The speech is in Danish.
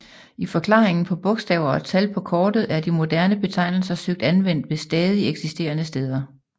I forklaringen på bogstaver og tal på kortet er de moderne betegnelser søgt anvendt ved stadig eksisterende steder